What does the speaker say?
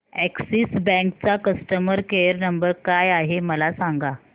Axis bank चा customer care number काय आहे मला सांगा